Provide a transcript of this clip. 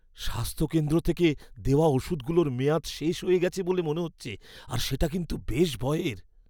স্বাস্থ্য কেন্দ্র থেকে দেওয়া ওষুধগুলোর মেয়াদ শেষ হয়ে গেছে বলে মনে হচ্ছে আর সেটা কিন্তু বেশ ভয়ের।